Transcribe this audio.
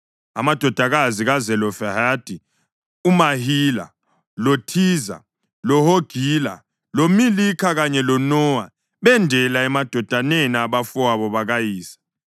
Amadodakazi kaZelofehadi uMahila, loThiza, loHogila, loMilikha kanye loNowa, bendela emadodaneni abafowabo bakayise.